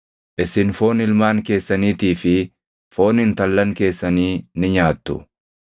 Isin foon ilmaan keessaniitii fi foon intallan keessanii ni nyaattu.